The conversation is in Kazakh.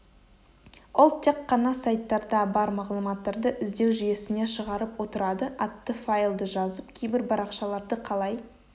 ол тек қана сайттарда бар мағлұматтарды іздеу жүйесіне шығарып отырады атты файлды жазып кейбір парақшаларды қалай